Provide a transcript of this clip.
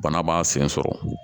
Bana b'a sen sɔrɔ